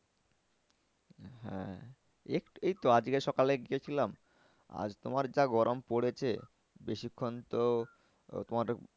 হ্যাঁ এই তো আজকে সকালে গিয়েছিলাম আর তোমার যা গরম পড়েছে বেশিক্ষন তো আহ তোমার